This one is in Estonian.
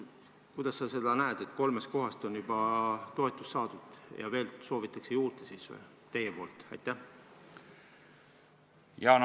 Kuidas sa seda näed, et kolmest kohast on juba toetust saadud ja siis te veel soovite juurde?